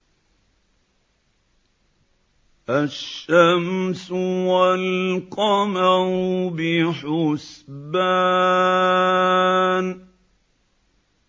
الشَّمْسُ وَالْقَمَرُ بِحُسْبَانٍ